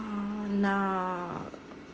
на